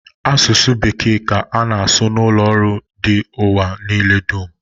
Asụsụ bekee ka ana asụ n'ụlọ ọrụ dị n'ụwa niile dum